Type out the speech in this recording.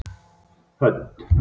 Hödd